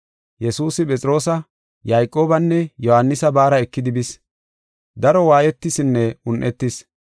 Yesuusi Phexroosa, Yayqoobanne Yohaanisa baara ekidi bis; daro waayetisinne un7etis.